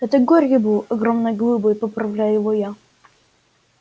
это горький был огромной глыбой поправляю его я